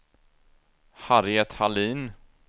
Harriet Hallin